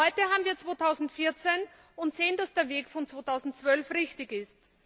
Heute haben wir 2014 und sehen, dass der Weg von 2012 richtig ist.